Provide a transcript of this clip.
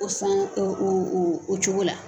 O san o o oo o cogo la